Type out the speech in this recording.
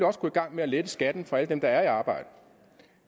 også gå i gang med at lette skatten for alle dem der er i arbejde